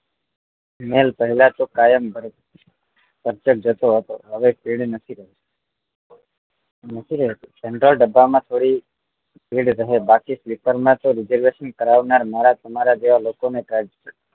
એની પેલા તો કાયમ અધર જોતો હતો હવે નથી રહી general ડબ્બા માં થોડી ભીડ રહે બાકી sleeper માં તો reservation કરાવનાર મારાં તમારાં જેવા લોકો ને